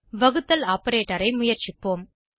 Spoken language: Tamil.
வகுத்தல் ஆப்பரேட்டர் ஐ முயற்சிப்போம்